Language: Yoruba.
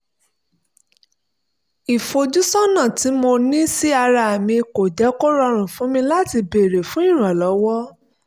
ìfojúsọ́nà tí mo ní sí ara mi kò jẹ́ kó rọrùn fún mi láti béèrè fún ìrànlọ́wọ́